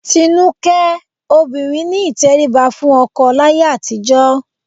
Tinúkẹ́, obìnrin ní ìtẹríba fún ọkọ láyé àtijọ́